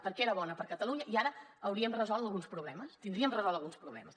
perquè era bona per a catalunya i ara hauríem resolt alguns problemes tindríem resolts alguns problemes